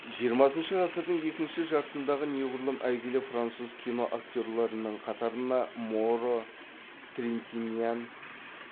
жиырмасыншы ғасырдың екінші жартысындағы неғұрлым әйгілі француз киноактерлерінің қатарына моро трентиньян